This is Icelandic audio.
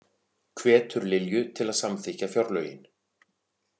Hvetur Lilju til að samþykkja fjárlögin